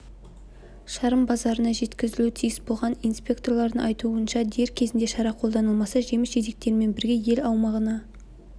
шарын базарына жеткізілуі тиіс болған инспекторлардың айтуынша дер кезінде шара қолданылмаса жеміс-жидектермен бірге ел аумағына